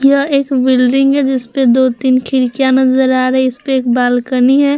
यह एक बिल्डिंग है जिस पे दो तीन खिड़कियां नज़र आ रही है इसपे एक बालकनी है ।